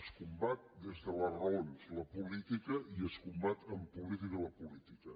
es combat des de les raons la política i es combat amb política la política